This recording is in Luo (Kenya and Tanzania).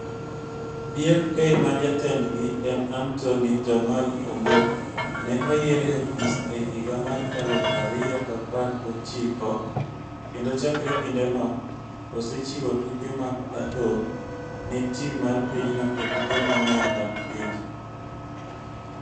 BFK ma jatendgi en Anthony 'Jamal' Ombok ne oyier e ofis e higa mar aluf ariyo gi apar gi ochiko kendo chakre kindeno osechiwo tuke mag adhong' ne tim mar pinyno e tuke mang'eny mag pinje.